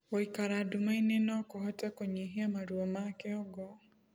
Guikara ndumaĩ ni nokuhote kunyihia maruo ma kĩongo